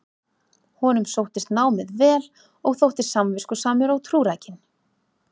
honum sóttist námið vel og þótti samviskusamur og trúrækinn